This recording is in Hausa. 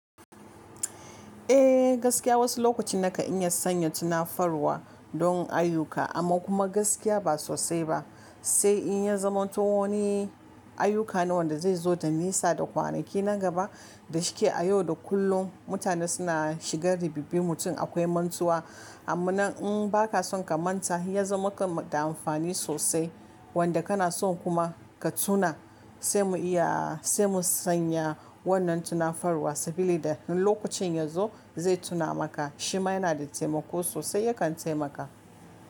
Eh gaskiya wasu lokacin nakan iya sanya tunafarwa don ayuka amma kuma gaskiya ba sosai ba, sai in ya zaman to wani ayuka ne wan da da zai zo da nisa da kwanaki na gaba da shike a yau da kullum mutane suna shiga ribibin mutum akwai mantuwa amma nan in ba ka son ka manta ya zo maka da amfani sosai wanda kana son kuma ka tuna sai mu iya sai mu sanya wannan tunafarwa saboda in lokacin yazo zai tuna maka shima yana da taimako sosai yakan taimaka.